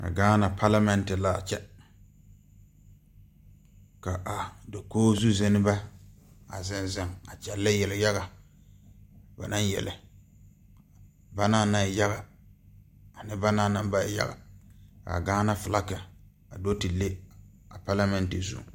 A gaana palamɛnte laa kyɛ ka a dokoge zu zeŋnebɛ a zeŋ zeŋ a kyɛ kyɛllɛ yeliyaga ba naŋ yele ba naŋ naŋ e yaga a ne ba naŋ naŋ ba e yaga a gaana filaki a do ti le a palamɛnte zu.